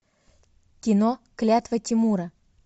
кино клятва тимура